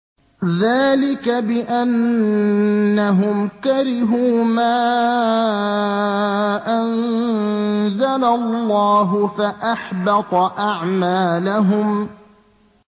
ذَٰلِكَ بِأَنَّهُمْ كَرِهُوا مَا أَنزَلَ اللَّهُ فَأَحْبَطَ أَعْمَالَهُمْ